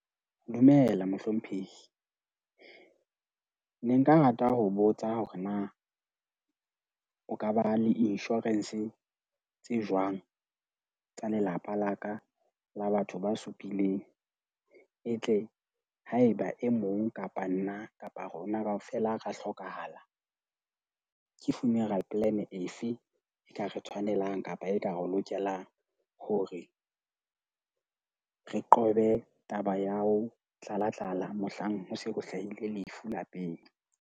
Dumela, mohlomphehi. Ne nka rata ho botsa hore na o ka ba le insurance tse jwang tsa lelapa la ka, la batho ba supileng? E tle haeba e mong kapa nna kapa rona kaofela ra hlokahala. Ke funeral plan efe e ka re tshwanelang kapa ekare lokelang hore re qobe taba ya ho tlala tlala, mohlang ho se ho hlahile lefu lapeng?